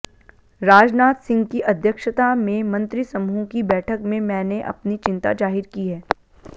राजनाथ सिंह की अध्यक्षता में मंत्रिसमूह की बैठक में मैंने अपनी चिंता जाहिर की है